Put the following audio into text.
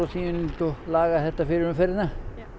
laga þetta fyrir umferðina